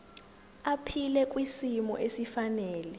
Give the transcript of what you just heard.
aphile kwisimo esifanele